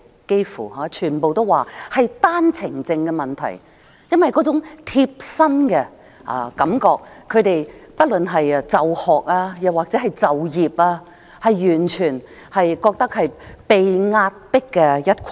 "幾乎全部大學生都回答是單程證問題，因為這問題直接影響他們，不論是就學或就業，他們都覺得是被壓迫的一群。